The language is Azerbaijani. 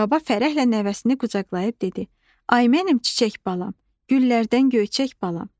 Baba fərəhlə nəvəsini qucaqlayıb dedi: Ay mənim çiçək balam, güllərdən göyçək balam.